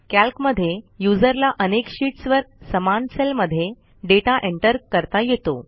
calc मध्ये युजरला अनेक शीट्सवर समान सेलमध्ये डेटा एंटर करता येतो